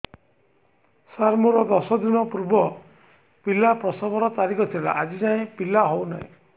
ସାର ମୋର ଦଶ ଦିନ ପୂର୍ବ ପିଲା ପ୍ରସଵ ର ତାରିଖ ଥିଲା ଆଜି ଯାଇଁ ପିଲା ହଉ ନାହିଁ